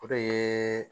O de ye